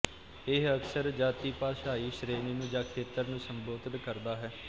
ਇਹ ਅਕਸਰ ਜਾਤੀਭਾਸ਼ਾਈ ਸ਼੍ਰੇਣੀ ਨੂੰ ਜਾਂ ਖੇਤਰ ਨੂੰ ਸੰਬੋਧਿਤ ਕਰਦਾ ਹੈ